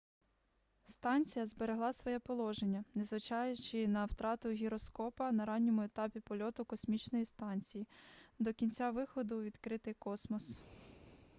станція зберегла своє положення незважаючи на втрату гіроскопа на ранньому етапі польоту космічної станції до кінця виходу у відкритий космос